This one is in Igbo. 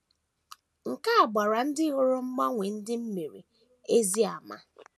Nke a gbaara ndị hụrụ mgbanwe ndị m mere ezi àmà.